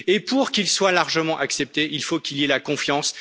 Et pour qu'il soit largement accepté, il faut qu'il y ait la confiance.